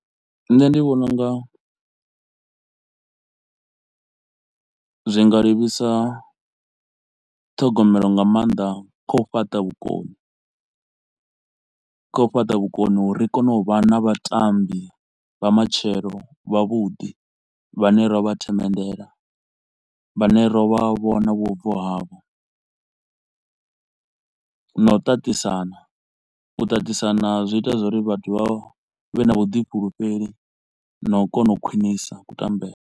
Nṋe ndi vhona u nga zwi nga livhisa ṱhogomelo nga maanḓa kha u fhaṱa vhukoni, kha u fhaṱa vhukoni u ri ri kone u vha na vhatambi vha matshelo vha vhuḓi vhane ra vha themenndela vhane ro vha vhona vhubvo havho na u ṱaṱisana, u tatisana zwi ita zwauri vhathu vha vhe na vhuḓifhulufheli na u kona u khwinisa kutambele.